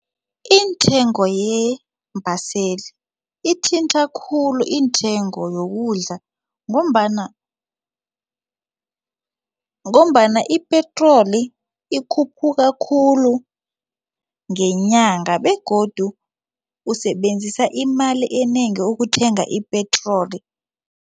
Intengo yeembaseli ithinta khulu intengo yokudla ngombana ipetroli ikhuphuka khulu ngenyanga begodu usebenzisa imali enengi ukuthenga ipetroli.